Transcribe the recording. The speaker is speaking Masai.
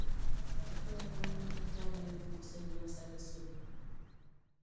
ore iltung'anak kitwaak neipungusa eninosata esodium